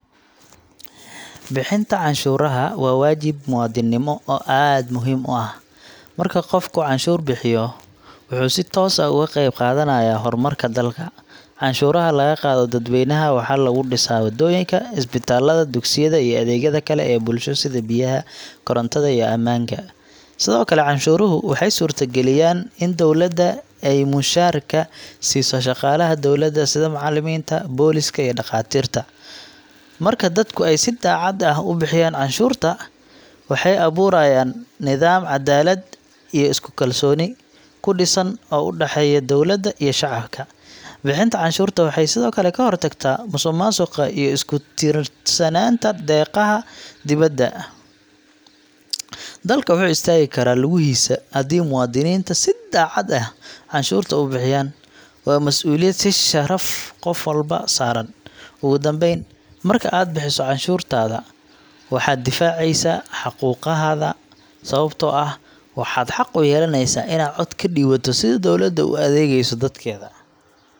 Bixinta canshuuraha waa waajib muwaadiniinimo oo aad muhiim u ah. Marka qofku canshuur bixiyo, wuxuu si toos ah uga qayb qaadanayaa horumarka dalka. Canshuuraha laga qaado dadweynaha waxaa lagu dhisaa waddooyinka, isbitaallada, dugsiyada, iyo adeegyada kale ee bulsho sida biyaha, korontada, iyo ammaanka. Sidoo kale, canshuuruhu waxay suurtageliyaan in dowladda ay mushaharka siiso shaqaalaha dawladda sida macallimiinta, booliiska, iyo dhaqaatiirta. Marka dadku ay si daacad ah u bixiyaan canshuurta, waxay abuurayaan nidaam caddaalad iyo isku kalsooni ku dhisan oo u dhexeeya dowladda iyo shacabka. Bixinta canshuurta waxay sidoo kale ka hortagtaa musuqmaasuqa iyo ku tiirsanaanta deeqaha dibadda. Dalka wuxuu istaagi karaa lugihiisa haddii muwaadiniinta si daacad ah canshuurta u bixiyaan. Waa mas’uuliyad iyo sharaf qof walba saaran. Ugu dambayn, marka aad bixiso canshuurtaada, waxaad difaaceysaa xuquuqdaada, sababtoo ah waxaad xaq u yeelaneysaa inaad cod ka dhiibato sida dowladda u adeegayso dadkeeda.